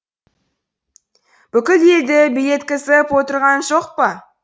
бүкіл елді билеткізіп отырған жоқ па